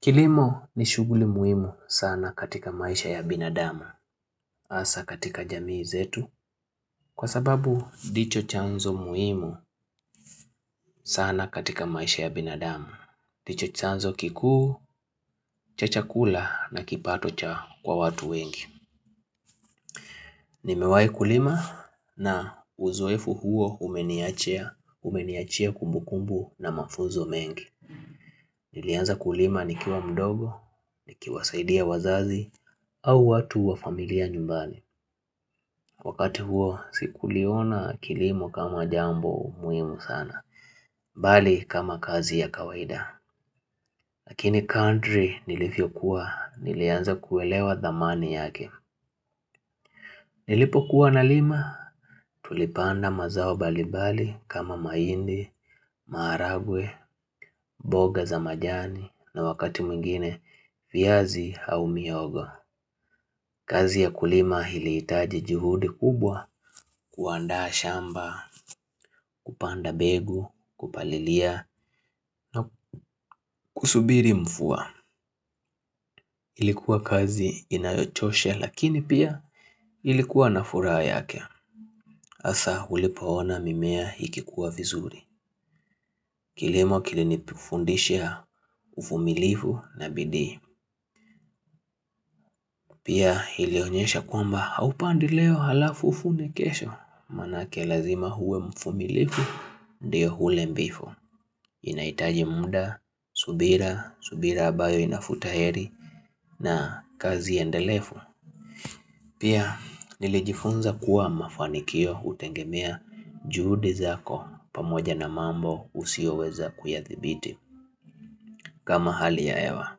Kilimo ni shughuli muhimu sana katika maisha ya binadamu, hasa katika jamii zetu, kwa sababu ndicho chanzo muhimu sana katika maisha ya binadamu. Ndicho chanzo kikuu, cha chakula na kipato kwa watu wengi. Nimewahi kulima na uzoefu huo umeniachia, umeniachia kumbukumbu na mafunzo mengi. Nilianza kulima nikiwa mdogo, nikiwasaidia wazazi, au watu wa familia nyumbani. Wakati huo, sikuliona kilimo kama jambo umuhimu sana, bali kama kazi ya kawaida. Lakini kadri nilivyokuwa, nilianza kuelewa thamani yake. Nilipo kuwa nalima, tulipanda mazao mbalimbali kama mahindi, maharagwe, mboga za majani, na wakati mwingine, viazi au mihogo. Kazi ya kulima ilihitaji juhudi kubwa kuandaha shamba, kupanda mbegu, kupalilia na kusubiri mvua. Ilikuwa kazi inayochosha lakini pia ilikuwa na furaha yake. Hasa ulipoona mimea ikikua vizuri. Kilimo kilinifundisha uvumilivu na bidii. Pia ilionyesha kwamba haupandi leo halafu uvune kesho. Manake lazima huwe mvumilivu ndio ule mbivu. Inaitaji muda, subira, subira ambayo inavuta heri na kazi endelevu. Pia nilijifunza kuwa mafanikio utegemea juhudi zako pamoja na mambo usioweza kuyathibiti kama hali ya hewa.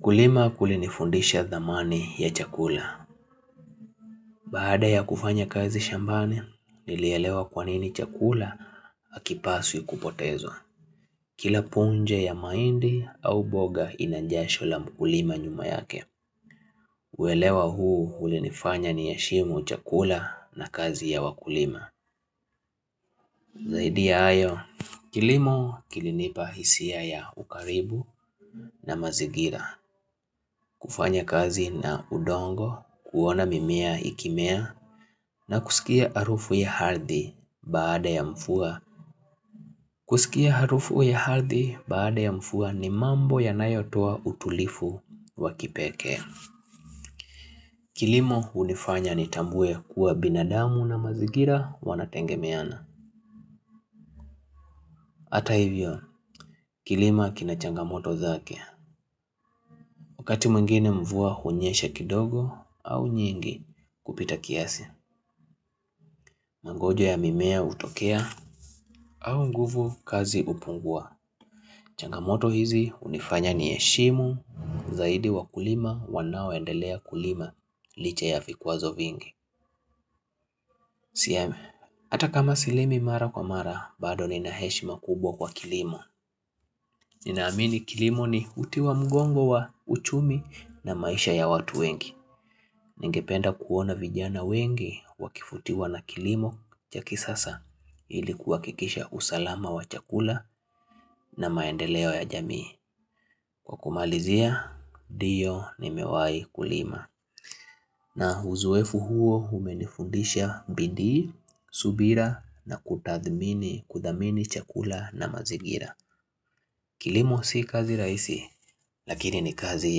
Kulima kulinifundisha thamani ya chakula. Baada ya kufanya kazi shambani nilielewa kwanini chakula hakipaswi kupotezwa. Kila punje ya mahindi au boga ina jasho la mkulima nyuma yake. Uelewa huu ulinifanya niheshimu chakula na kazi ya wakulima. Zaidi ya hayo, kilimo kilinipa hisia ya ukaribu na mazingira. Kufanya kazi na udongo, kuona mimea ikimea. Na kusikia harufu ya ardhi baada ya mvua ni mambo yanayotoa utulivu wa kipekee. Kilimo hunifanya nitambue kuwa binadamu na mazigira wanategemeana. Hata hivyo, kilimo kina changamoto zake. Wakati mwingine mvua hunyesha kidogo au nyingi kupita kiasi. Mangojo ya mimea hutokea au nguvu kazi hupungua. Changamoto hizi hunifanya niheshimu zaidi wa kulima wanaoendelea kulima licha ya vikwazo vingi. Ata kama silimi mara kwa mara, bado nina heshima kubwa kwa kilimo. Ninaamini kilimo ni uti wa mgongo wa uchumi na maisha ya watu wengi. Ningependa kuona vijana wengi wakivutiwa na kilimo cha kisasa ili kuhakikisha usalama wa chakula na maendeleo ya jamii. Kwa kumalizia, ndio nimewahi kulima. Na uzoefu huo umenifundisha bidii, subira na kutathmini kuthamini chakula na mazingira. Kilimo si kazi rahisi, lakini ni kazi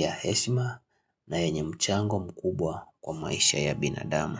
ya heshima na yenye mchango mkubwa kwa maisha ya binadamu.